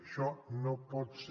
això no pot ser